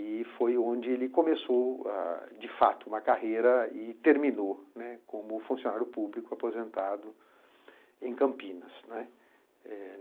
E foi onde ele começou, de fato, uma carreira e terminou, né, como funcionário público aposentado em Campinas, né. Eh